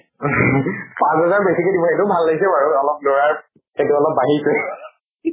পাছঁ হেজাৰ বেছিকে দিব এইটো ভাল লাগিছে বাৰু। অলপ লʼৰাৰ সেইটো অলপ বাঢ়িছে